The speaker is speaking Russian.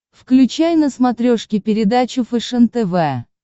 включай на смотрешке передачу фэшен тв